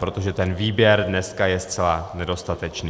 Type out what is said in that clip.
Protože ten výběr dneska je zcela nedostatečný.